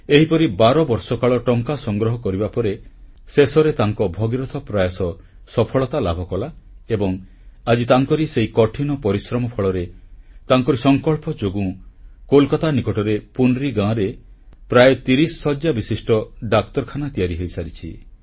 ଏହିପରି 12 ବର୍ଷ କାଳ ଟଙ୍କା ସଂଗ୍ରହ କରିବା ପରେ ଶେଷରେ ତାଙ୍କ ଭଗୀରଥ ପ୍ରୟାସ ସଫଳତା ଲାଭକଲା ଏବଂ ଆଜି ତାଙ୍କରି ସେହି କଠିନ ପରିଶ୍ରମ ଫଳରେ ତାଙ୍କରି ସଂକଳ୍ପ ଯୋଗୁଁ କୋଲକାତା ନିକଟ ପୁନ୍ରୀ ଗାଁରେ ପ୍ରାୟ 30 ଶଯ୍ୟାବିଶିଷ୍ଟ ଡାକ୍ତରଖାନା ତିଆରି ହୋଇସାରିଛି